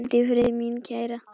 Hvíldu í friði, mín kæra.